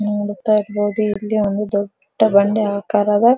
ನೋಡುತ್ತಾ ಇರಬಹುದು ಇಲ್ಲಿ ಒಂದು ದೊಡ್ಡ ಬಂಡೆ ಆಕಾರದ --